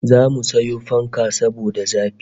Zamu sayo fanka saboda zafi